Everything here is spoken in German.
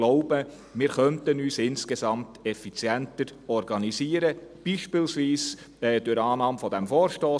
Ich denke, wir könnten uns insgesamt effizienter organisieren, beispielsweise durch die Annahme dieses Vorstosses.